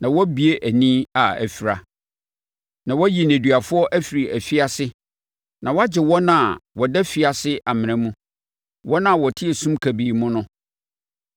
na woabue ani a afira, na woayi nneduafoɔ afiri afiase na woagye wɔn a wɔda afiase amena mu, wɔn a wɔte esum kabii mu no.